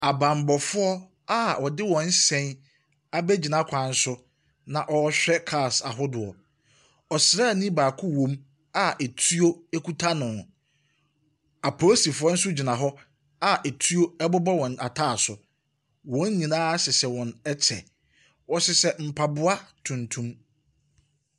Abammɔfoɔ a wɔde wɔn hyɛn abɛgyina kwan so na wɔrehwɛ cars ahodoɔ. Ɔsraani baako wom a etuo kuta no. Apolisifoɔ nso gyina hɔ a etuo bobɔ wɔn ataaso. Wɔn nyinaa hyehyɛ wɔn kyɛ. Wɔhyehyɛ mpaboa tuntum.